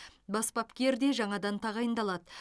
бас бапкер де жаңадан тағайындалады